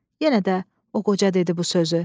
Yenə də o qoca dedi bu sözü.